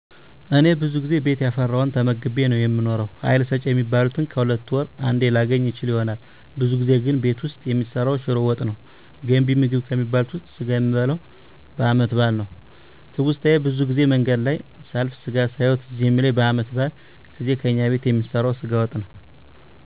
እኔ ብዙ ጊዜ ቤት ያፈራዉን ተመግቤ ነዉ የምኖረዉ ሀይል ሰጭ የሚባሉትን ከሁለት ወር አንዴ ላገኝ እችል ይሆናል ብዙ ጊዜ ቤት ዉስጥ የሚሰራዉ ሽሮ ወጥ ነዉ ገንቢ ምግብ ከሚባሉት ዉስጥ ስጋ የሚበላዉ በአመት በአል ነዉ ትዉስታየ ብዙ ጊዜ መንገድ ላይ ሳልፍ ስጋ ሳየዉ ትዝ የሚለኝ በአመት በአል ጊዜ ከእኛ ቤት የሚሰራዉ ስጋ ወጥ ነዉ